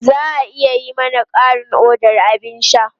Za a iya yi mana ƙarin odar abin sha?